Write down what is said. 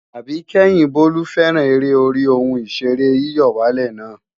Àbíkẹ́yìn Bólú fẹ́ràn eré orí ohun ìṣeré yíyọ̀wálè na